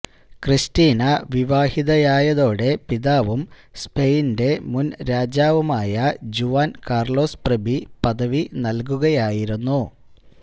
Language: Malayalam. ക്രിസ്റ്റീന വിവാഹിതയായതോടെ പിതാവും സ്പെയിന്റെ മുന് രാജാവുമായ ജുവാന് കാര്ലോസ് പ്രഭ്വി പദവി നല്കുകയായിരുന്നു